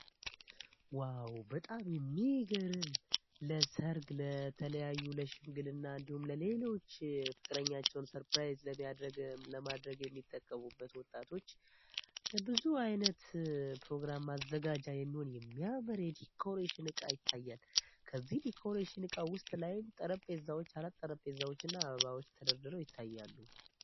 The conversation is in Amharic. ዋው በጣም የሚግርም ለሰርግ ለተለያዩ ለሽምግል እና እንዲሁም ለሌሎች ፍቅረኛቸውን ሰርፕራይዝ ለማድረግ የሚጠቀቡበት ወጣቶች ብዙ ዓይነት ፕሮግራም ማዘጋጃ የሚሆን የሚያመር የዲኮሬሽን እቃ ይታያል ከዚህ ዲኮሬሽን እቃ ውስጥ ላይም ጠረጴዛዎች አራት ጠረጴዛዎች እና አበባዎች ተደርድረው ይታያሉ።